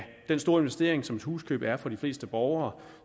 den store investering som et huskøb er for de fleste borgere